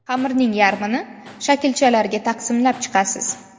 Xamirning yarmini shaklchalarga taqsimlab chiqasiz.